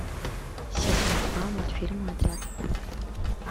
сезон два мультфильм отряд